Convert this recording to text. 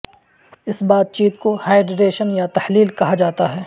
اس بات چیت کو ہائیڈریشن یا تحلیل کہا جاتا ہے